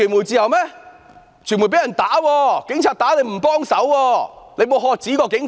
有傳媒被警察打，特首沒有喝止過警方。